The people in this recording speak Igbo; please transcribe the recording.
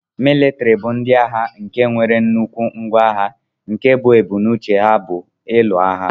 Militiri bu ndi agha nke nwere nnukwu ngwa agha nke bu ebumnauche ha bu ilụ agha.